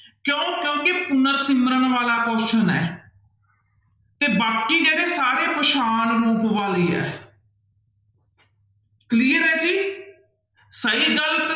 ਕਿਉਂ ਕਿਉਂਕਿ ਪੁਨਰ ਸਿਮਰਨ ਵਾਲਾ question ਹੈ ਤੇ ਬਾਕੀ ਜਿਹੜੇ ਸਾਰੇ ਪਛਾਣ ਰੂਪ ਵਾਲੇ ਹੈ clear ਹੈ ਜੀ ਸਹੀ ਗ਼ਲਤ